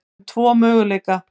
um tvo möguleika.